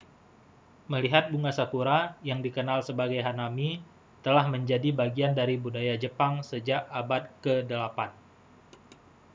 melihat bunga sakura yang dikenal sebagai hanami telah menjadi bagian dari budaya jepang sejak abad ke-8